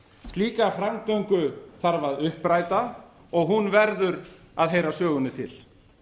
slíka framgöngu þarf að uppræta og hún verður að heyra sögunni til